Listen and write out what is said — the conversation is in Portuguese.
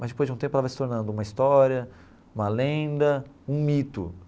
Mas depois de um tempo ela vai se tornando uma história, uma lenda, um mito.